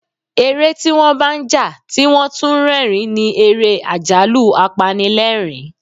Eré tí wọ́n bá ń jà tí wón tún ń rẹ́rìn-ín ni ère àjálù-apanilerin.